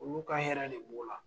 Olu ka hɛrɛ de b' la.